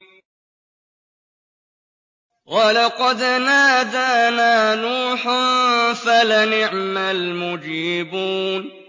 وَلَقَدْ نَادَانَا نُوحٌ فَلَنِعْمَ الْمُجِيبُونَ